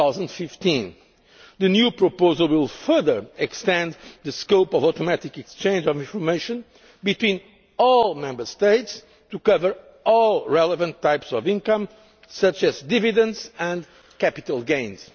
from 2015. The new proposal will further extend the scope of automatic exchange of information between all Member States to cover all relevant types of income, such as dividends and capital